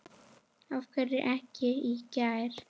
Af hverju ekki í gær?